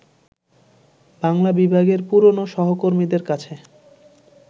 বাংলা বিভাগের পুরনো সহকর্মীদের কাছে